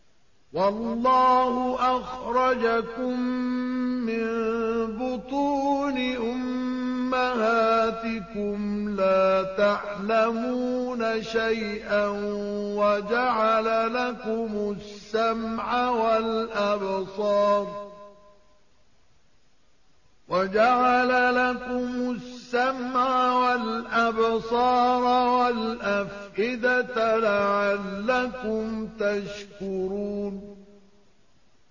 وَاللَّهُ أَخْرَجَكُم مِّن بُطُونِ أُمَّهَاتِكُمْ لَا تَعْلَمُونَ شَيْئًا وَجَعَلَ لَكُمُ السَّمْعَ وَالْأَبْصَارَ وَالْأَفْئِدَةَ ۙ لَعَلَّكُمْ تَشْكُرُونَ